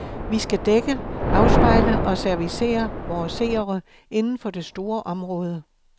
Vi skal dække, afspejle og servicere vore seere inden for det store område.